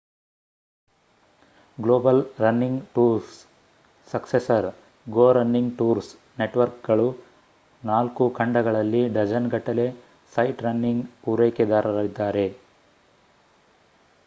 global running tours successor go running tours ನೆಟ್‌ವರ್ಕ್‌ಗಳು 4 ಖಂಡಗಳಲ್ಲಿ ಡಜನ್‌ಗಟ್ಟಲೆ ಸೈಟ್‌ರನ್ನಿಂಗ್‌ ಪೂರೈಕೆದಾರರಿದ್ದಾರೆ